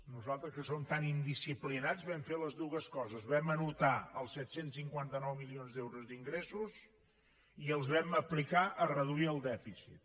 nosaltres que som tan indisciplinats van fer totes dues coses vam anotar el set cents i cinquanta nou milions d’euros d’ingressos i els vam aplicar a reduir el dèficit